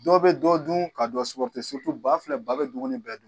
Dɔ bɛ dɔ dun ka ba filɛ ba bɛ dumuni bɛɛ dun.